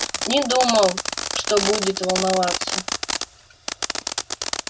не думал что будет волноваться